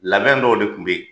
Labɛn dɔw de kun be yen